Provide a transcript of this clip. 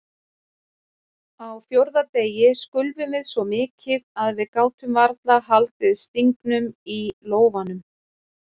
Á fjórða degi skulfum við svo mikið að við gátum varla haldið stingnum í lófanum.